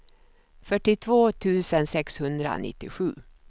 fyrtiotvå tusen sexhundranittiosju